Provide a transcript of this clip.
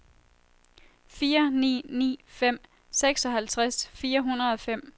fire ni ni fem seksoghalvtreds fire hundrede og fem